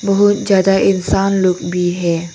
बहुत ज्यादा इंसान लोग भी है।